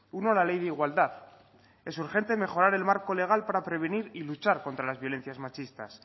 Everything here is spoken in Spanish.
uno la ley de igualdad es urgente mejorar el marco legal para prevenir y luchar contra las violencias machistas